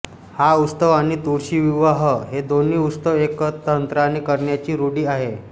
हा उत्सव आणि तुळशी विवाह हे दोन्ही उत्सव एकतंत्राने करण्याची रूढी आहे